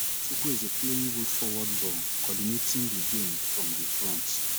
chkwueze playing good forward ball coordinating di game from di front